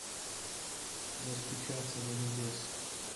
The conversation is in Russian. достучаться до небес